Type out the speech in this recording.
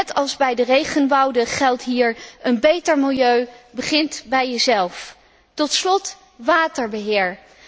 Net als bij de regenwouden geldt hier een beter milieu begint bij jezelf. Tot slot waterbeheer.